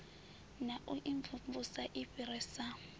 na u imvumvusa i fhirisa